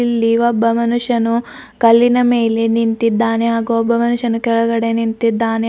ಇಲ್ಲಿ ಒಬ್ಬ ಮನುಷ್ಯನು ಕಲ್ಲಿನ ಮೇಲೆ ನಿಂತಿದ್ದಾನೆ ಹಾಗೂ ಒಬ್ಬ ಮನುಷ್ಯನು ಕೆಳಗಡೆ ನಿಂತಿದ್ದಾನೆ.